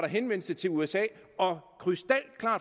henvendelse til usa og